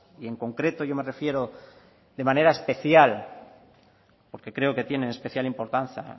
y en concreto yo me refiero de manera especial porque creo que tienen especial